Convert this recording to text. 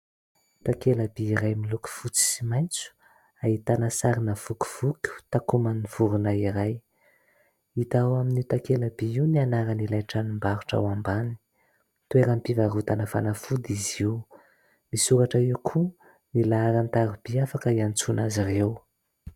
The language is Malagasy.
Takela-by iray miloko fotsy sy maitso ahitana sarina "voky foto" takoman'ny vorona iray. Hita ao amin'io takela-by io ny anaran'ilay tranombarotra ao ambany. Toeram-pivarotana fanafody izy io. Misoratra eo koa ny laharan-tariby afaka iantsona azy ireo.